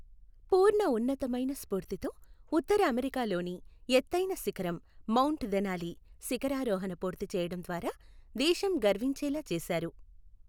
పూర్ణ ఉన్నతమైన స్ఫూర్తితో ఉత్తర అమెరికాలోని ఎత్తైన శిఖరం మౌంట్ దెనాలి శిఖరారోహణ పూర్తి చేయడం ద్వారా దేశం గర్వించేలా చేశారు.